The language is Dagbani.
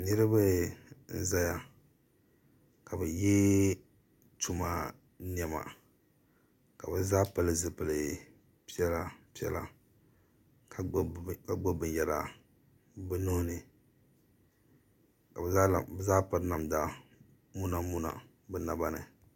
niriba n zaya ka bɛ ye tuma nema ka bɛ zaa pili zipil' piɛla piɛla ka gbubi binyara bɛ nuhi ni ka bɛ zaa piri namdamuna muna bɛ naba ni